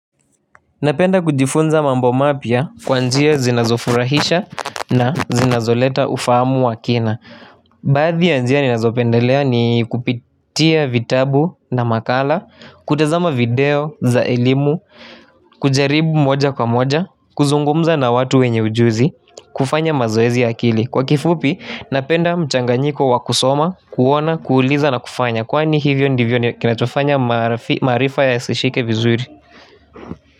Napenda kujifunza mambo mapya kwa njia zinazofurahisha na zinazoleta ufahamu wa kina Baadhi ya njia ninazopendelea ni kupitia vitabu na makala, kutazama video za elimu, kujaribu moja kwa moja, kuzungumza na watu wenye ujuzi, kufanya mazoezi ya akili Kwa kifupi, napenda mchanganyiko wa kusoma, kuona, kuuliza na kufanya, kwani hivyo ndivyo ni kinachofanya maarifa yasishike vizuri.